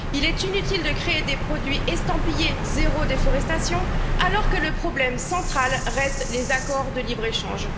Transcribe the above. Il est inutile de créer des produits estampillés zéro déforestation alors que le problème central reste les accords de libre échange.